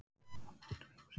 Það er einfaldlega draumsýn.